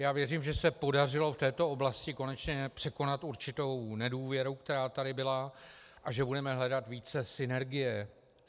Já věřím, že se podařilo v této oblasti konečně překonat určitou nedůvěru, která tady byla, a že budeme hledat více synergie.